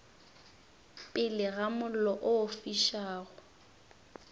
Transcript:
pele ga mollo o fišago